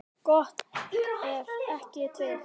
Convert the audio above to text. Gott ef ekki tveir.